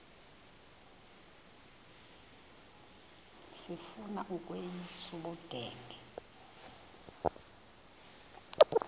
sifuna ukweyis ubudenge